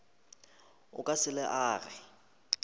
o ka se le age